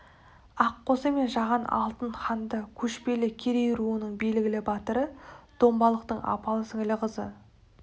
аққозы мен жаған алтын ханда көшпелі керей руының белгілі батыры домбалықтың апалы-сіңлілі қызы